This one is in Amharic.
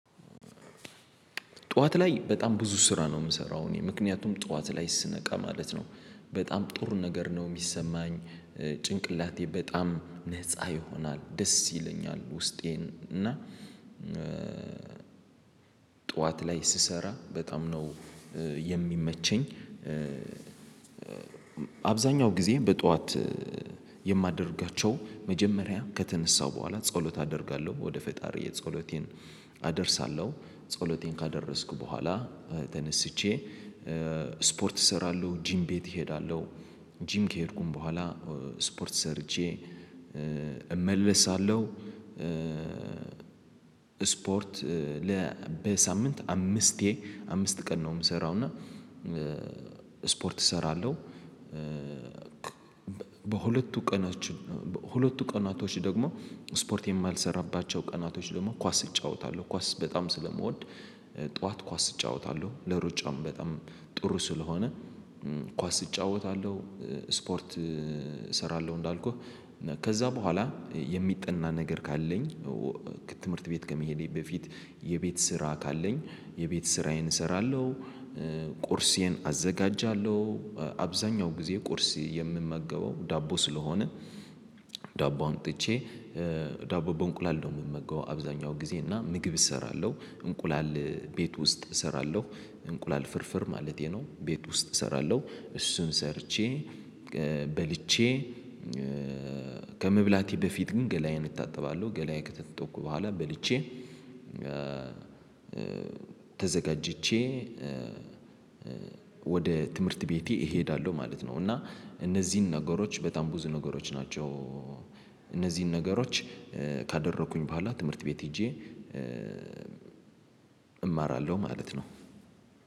ጠዋት ላይ በጣም ብዙ ስራ ነው የምሰራው። እኔ ምክንያቱም ጠዋት ላይ ስነቃ ማለት ነው። በጣም ጥሩ ነገር ነው የሚሰማኝ። ጭንቅላቴ በጣም ነፃ ይሆናል ደስ ይለኛል ውስጤን እና ጠዋት ላይ ስሰራ በጣም ነው የሚመቸኝ። አብዛኛው ጊዜ በጧት የማደርጋቸው መጀመሪያ ከተነሳው በኋላ ጸሎት አደርጋለሁ፣ ወደ ፈጣሪ ጸሎቴን አደርሳለሁ ጸሎቴን ካደረስኩ በኋላ ተነስቼ ስፖርት እሰራለሁ፣ ጂም ቤት እሄዳለሁ። ጂም ከሄድኩኝ በኋላ ስፖርት ሰርቼ እመለሳለሁ። ስፖርት ለ በሳምንት አምስቴ አምስት ቀን ነው የምሰራው እና ስፖርት እሰራለሁ በሁለቱ ቀኖች በሁለቱ ቀናቶች ደግሞ ስፖርት የማልሰራባቸው ቀናቶች ደግሞ ኳስ እጫወታለሁ። ኳስ በጣም ስለምወድ ጠዋት ኳስ እጫወታለሁ። ለሩጫም በጣም ጥሩ ስለሆነ ኳስ እጫወታለሁ፣ ስፖርት እሰራለሁ እንዳልኩህ ከዛ በኋላ የሚጠና ነገር ካለኝ ከትምህርት ቤት ከመሄዴ በፊት የቤት ስራ ካለኝ የቤት ስራዬን እሰራለሁ። ቁርሴን አዘጋጃለሁ። አብዛኛው ጊዜ ቁርስ የምመገበው ዳቦ ስለሆነ ዳቦ አምጥቼ ዳቦ በእንቁላል ነው የምመገው። አብዛኛው ጊዜ እና ምግብ እሰራለሁ። እንቁላል ቤት ውስጥ እሰራለሁ። እንቁላል ፍርፍር ማለቴ ነው ቤት ውስጥ እሰራለሁ። እሱን ሰርቼ፣ በልቼ ከመብላቴ በፊት ግን ገላዬን እታጠባለሁ። ገላዬን ከታጠብኩ በኋላ በልቼ ተዘጋጅቼ ወደ ትምህርት ቤቴ እሄዳለሁ ማለት ነው እና እነዚህን ነገሮች በጣም ብዙ ነገሮች ናቸው። እነዚህን ነገሮች ካደረኩኝ በኋላ ትምህርት ቤት ሄጄ እማራለሁ ማለት ነው።